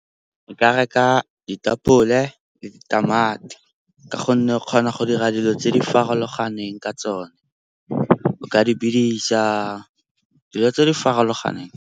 Nka reka ditapole le ditamati ka gonne o kgona go dira dilo tse di farologaneng ka tsone, o ka di bidisa. Dilo tse di farologaneng.